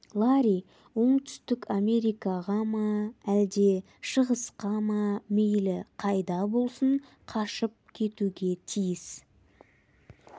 ларри оңтүстік америкаға ма әлде шығысқа ма мейлі қайда болсын қашып кетуге тиіс